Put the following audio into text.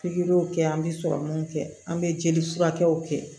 Pikiriw kɛ an bɛ sɔrɔmunw kɛ an bɛ jeli furakɛw kɛ